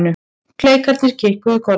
Klerkarnir kinkuðu kolli.